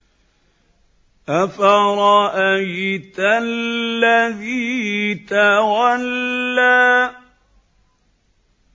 أَفَرَأَيْتَ الَّذِي تَوَلَّىٰ